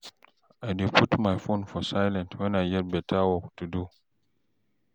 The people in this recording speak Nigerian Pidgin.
I dey put my phone for silent wen I get beta work to do